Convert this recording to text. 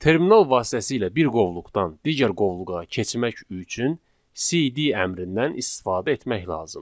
Terminal vasitəsilə bir qovluqdan digər qovluğa keçmək üçün CD əmrindən istifadə etmək lazımdır.